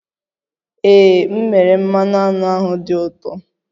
Ee, m mere, mmanụ aṅụ ahụ dị ụtọ